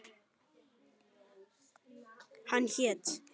Hann hét